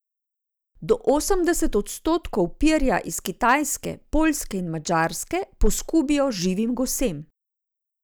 Do osemdeset odstotkov perja iz Kitajske, Poljske in Madžarske poskubijo živim gosem.